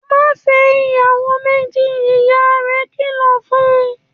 ‘Má fé̩ ìyàwó méjì!’, ìyá rè̩ kìlò̩ fun